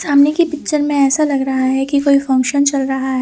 सामने की पिक्चर में ऐसा लग रहा है की कोई फंक्शन चल रहा है।